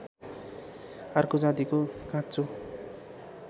अर्को जातिको काँचो